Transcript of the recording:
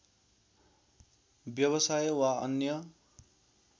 व्यवसाय वा अन्य